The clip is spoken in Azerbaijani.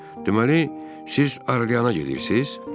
Deməli, siz Arliana gedirsiz?